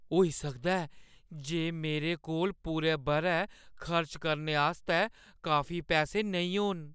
होई सकदा ऐ जे मेरे कोल पूरे बʼरै खर्च करने आस्तै काफी पैसे नेईं होन।